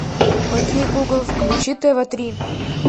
окей гугл включи тв три